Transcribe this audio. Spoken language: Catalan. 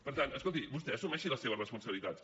per tant escolti vostè assumeixi les seves responsabilitats